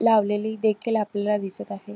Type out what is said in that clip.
लावलेली देखील आपल्याला दिसत आहे.